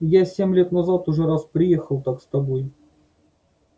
я семь лет назад уже раз приехал так с тобой